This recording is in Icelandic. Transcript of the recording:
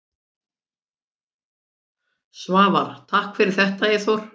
Svavar: Takk fyrir þetta Eyþór.